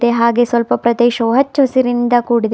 ಹಾಗೆ ಸ್ವಲ್ಪ ಪ್ರದೇಶವು ಹಚ್ಚು ಹಸುರಿನಿಂದ ಕೂಡಿದೆ.